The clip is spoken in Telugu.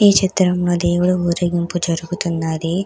ఈ చిత్రం ఆ దేవుడు ఊరేగింపు జరుగుతున్నది.